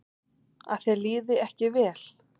Að þér liði ekki vel.